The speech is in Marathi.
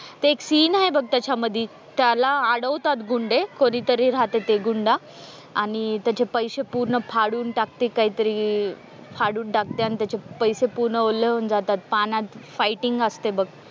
ते एक सीन आहे बघ त्याच्यामध्ये त्याला अडवतात गुंडे कधीतरी रहाते ते गुंड आणि त्याचे पैसे पूर्ण फाडून टाकते कायतरी फाडून टाकते आन त्याचे पैसे पूर्ण ओले होऊन जातात पाण्यात फायटिंग असते बघ.